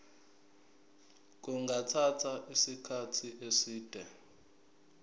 kungathatha isikhathi eside